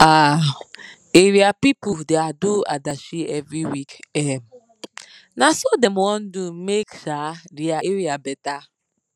um area pipu da do adashi every week um na so dem wan do make um dia area better